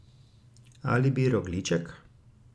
A bi rogljiček?